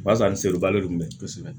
O b'a sɔrɔ ni selibalo bɛ